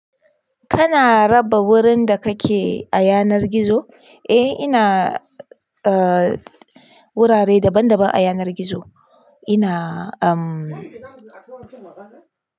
Kana raba wurin da kake a yanar gizo? Eh ina, eh wurare daban daban a yanar gizo ina umm.